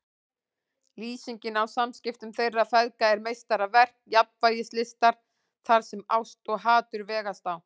Lýsingin á samskiptum þeirra feðga er meistaraverk jafnvægislistar þar sem ást og hatur vegast á.